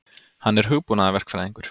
Hann er hugbúnaðarverkfræðingur.